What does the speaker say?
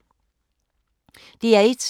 DR1